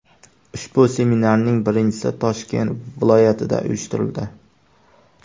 Ushbu seminarning birinchisi Toshkent viloyatida uyushtirildi.